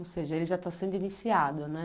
Ou seja, ele já está sendo iniciado, né?